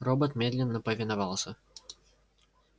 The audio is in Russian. робот медленно повиновался